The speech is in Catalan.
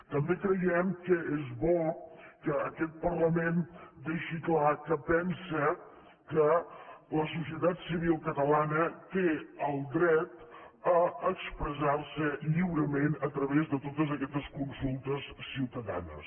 també creiem que és bo que aquest parlament deixi clar que pensa que la societat civil catalana té el dret a expressar se lliurement a través de totes aquestes consultes ciutadanes